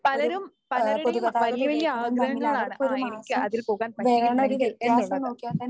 പലരും പലരുടേയും വല്യ വല്യ ആഗ്രഹങ്ങളാണ് ആ എനിക്ക് അതിൽ പോകാൻ പറ്റിയിരുന്നെങ്കിൽ എന്നുള്ളത്.